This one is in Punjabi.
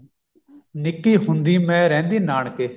ਨਿੱਕੀ ਹੁੰਦੀ ਮੈਂ ਰਹਿੰਦੀ ਨਾਨਕੇ